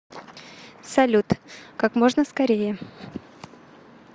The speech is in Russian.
салют как можно скорее